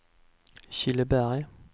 Killeberg